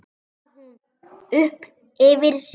hrópar hún upp yfir sig.